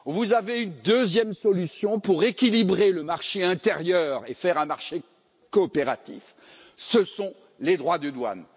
Vous avez une deuxième solution pour équilibrer le marché intérieur et faire un marché coopératif, ce sont les droits de douane.